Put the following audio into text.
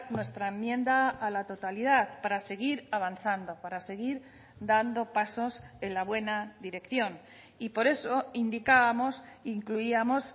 nuestra enmienda a la totalidad para seguir avanzando para seguir dando pasos en la buena dirección y por eso indicábamos incluíamos